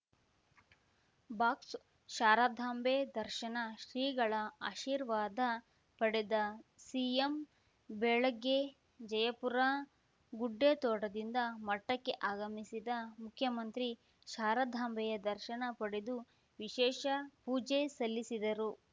box Sharadambe ದರ್ಶನ ಶ್ರೀಗಳ ಆಶೀರ್ವಾದ ಪಡೆದ ಸಿಎಂ ಬೆಳಗ್ಗೆ ಜಯಪುರ ಗುಡ್ಡೆತೋಟದಿಂದ ಮಠಕ್ಕೆ ಆಗಮಿಸಿದ ಮುಖ್ಯಮಂತ್ರಿ ಶಾರದಾಂಬೆಯ ದರ್ಶನ ಪಡೆದು ವಿಶೇಷ ಪೂಜೆ ಸಲ್ಲಿಸಿದರು